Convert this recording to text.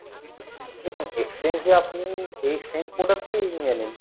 দেখুন exchange এ আপনি এই same product টি নিয়ে নিন,